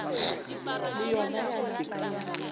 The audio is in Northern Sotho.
le yona ya napa ya